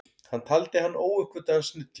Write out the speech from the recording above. Hann taldi hann óuppgötvaðan snilling.